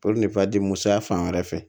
musoya fan wɛrɛ fɛ